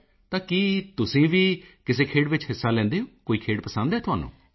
ਮੋਦੀ ਜੀ ਤਾਂ ਕੀ ਤੁਸੀਂ ਵੀ ਕਿਸੇ ਖੇਡ ਵਿੱਚ ਹਿੱਸਾ ਲੈਂਦੇ ਹੋ ਕੋਈ ਖੇਡ ਪਸੰਦ ਹੈ ਤੁਹਾਨੂੰ